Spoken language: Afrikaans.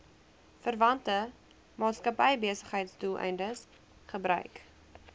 verwante maatskappybesigheidsdoeleindes gebruik